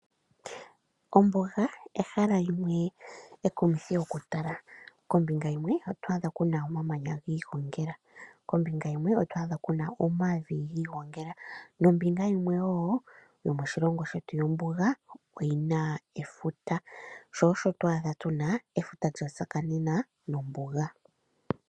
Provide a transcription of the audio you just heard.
Ombuga ehala limwe ekumithi oku tala. Kombinga yimwe oto adha kuna omamanya giigongela kombinga yimwe oto adha kuna omavi giigongela. Nombinga yimwe woo yomoshilongo shetu yombuga oyina efuta sho osho to adha tuna efuta lya tsakanena nombuga.